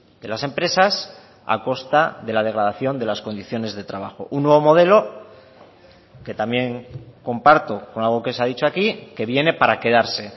de las empresas a costa de la degradación de las condiciones de trabajo un nuevo modelo que también comparto con algo que se ha dicho aquí que viene para quedarse